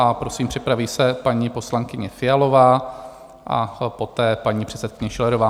A prosím, připraví se paní poslankyně Fialová a poté paní předsedkyně Schillerová.